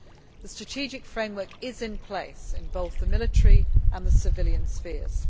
The strategic framework is in place in both the military and the civilian spheres.